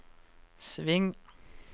sving